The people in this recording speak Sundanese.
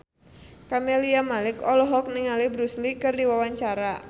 Camelia Malik olohok ningali Bruce Lee keur diwawancara